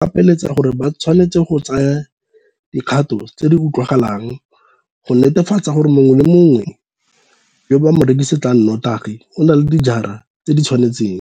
Molao o ba gapeletsa gore ba tshwanetse go tsaya dikgato tse di utlwagalang go netefatsa gore mongwe le mongwe yo ba mo rekisetsang notagi o na le dingwaga tse di tshwanetseng.